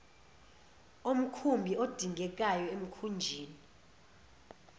omkhumbi adingekayo emkhunjini